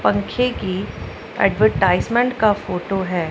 पंखे की एडवर्टाइजमेंट का फोटो है।